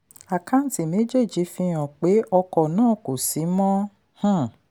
àkáǹtì méjèèjì fihan pé ọkọ̀ náà kò sí mọ́. um